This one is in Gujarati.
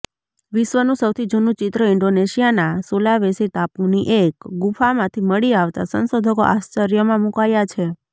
વિશ્વનું સૌથી જૂનું ચિત્ર ઈન્ડોનેશીયાના સુલાવેસી ટાપુની એક ગુફામાંથી મળી આવતા સંશોધકો આશ્ર્ચર્યમાં મુકાયા છે